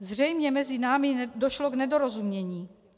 Zřejmě mezi námi došlo k nedorozumění.